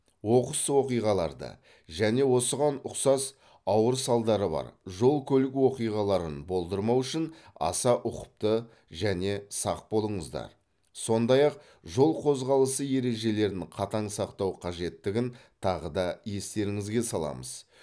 оқыс оқиғаларды және осыған ұқсас ауыр салдары бар жол көлік оқиғаларын болдырмау үшін аса ұқыпты және сақ болыңыздар сондай ақ жол қозғалысы ережелерін қатаң сақтау қажеттігін тағы да естеріңізге саламыз